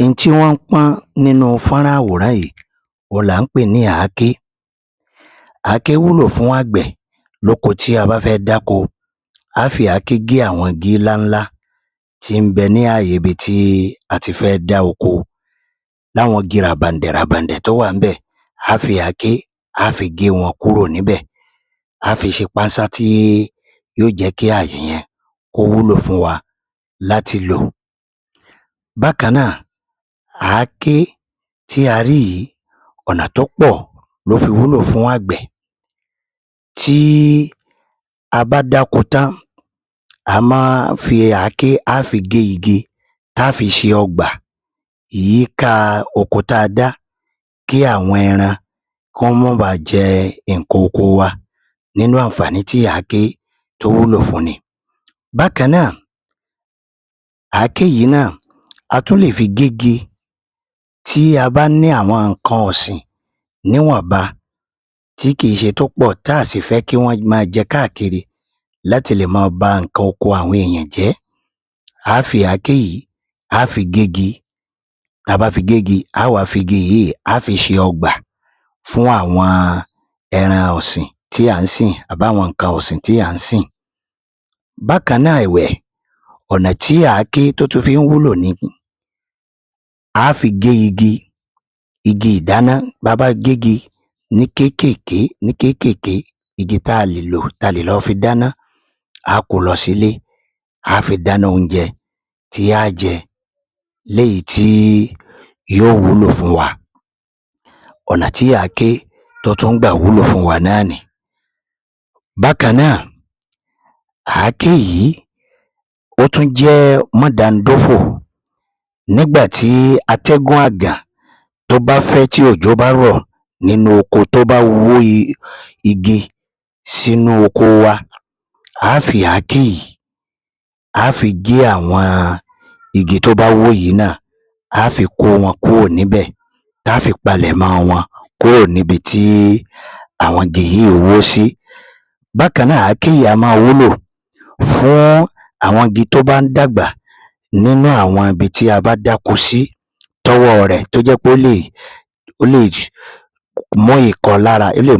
Ihun tí wọ́n pọ́n nínu fọ́nrán àwòrán yìí, òhun ni à ń pè ní Àáké, àáké wúlò fún àgbẹ̀ lóko tí a bá fẹ́ dáko à á fi àáké gé àwọn igi ńlá ńlá tí ńbẹ ní áyè ibi tí a ti fẹ́ dá oko, láwọn igi ràbàndẹ̀-ràbàndẹ̀ tó wà ḿbẹ̀ à á fi àáké à á fi gé wọn kúrò níbẹ̀ à á fi ṣe pásá tí yíò jẹ́ kí àyè yẹn ó wúlò fún wa láti lò bákan náà àáké tí a rí yìí ọ̀nà tó pọ̀ ló fi wúlò fún àgbẹ̀, tí a bá dáko tán a máa ń fi àáké à á fi gé igi tí aó fi ṣe ọgbà ìyíká oko tí a dá kí àwọn ẹran kí wọ́n mà ba jẹ nǹkan oko wa nínu anfààní tí àáké tó wúlò fún ni bákan náà àáké yìí náà a tún lè fi gé gi tí a bá ní àwọn nǹkan ọ̀sìn níwọ̀nba tí kìí ṣe tó pọ̀ tí a à sì fẹ́ kí wọ́n ma jẹ káàkiri láti lè ma ba nǹkan oko àwọn èyàn jẹ́ a à fi àáké yìí a à fi gé gi tabá fi gé gi a ó wa fi igi yìí a á fi ṣe ọgbà fún àwọn ẹran ọ̀sìn tí à ń sín àbí àwọn nǹkan ọ̀sìn tí à ń sín bákan náà ẹ̀wẹ̀ ọ̀nà ti àáké tó tú fín wúlò ni a á fi gé igi, igi ìdáná babá gé gi ní kéé-kéé-kèé, ní kéé-kéé-kèé igi tí a lè lò talè lọ fi dáná, a á ko lọ sí lé, a á fi dáná óúnjẹ tí á jẹ léyìí tí yóò wúlò fún wa. Ọ̀nà ti àáké túntún gbà wúlò fún wa náà nìí bákan náà àáké yìí ó tún jẹ́ nígbàtí atẹ́gùn àgà tó bá fẹ́ tí òjò bá rọ̀ nínu oko tó bá wó igi sí inú oko wa a á fi àáké yìí a á fi gé àwọn igi tó bá wó yìí náà a á fi kó wọn kúrò níbẹ̀ tá á fi palẹ̀mọ́ wọn kúrò níbití àwọn igi yíì wó sí bákan náà àáké yìí á ma wúlò fún àwọn igi tó bá ń dàgbà nínú àwọn ibi tí abá dáko sí tí ọwọ́ rẹ̀ tó jẹ́ pé ólè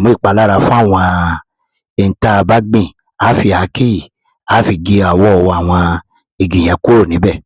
mú ìpalára fún àwọn ohun tí abá gbìn a á fi àáké yìí a á fi gé awọ́ àwọn igi yẹn kúrò níbẹ̀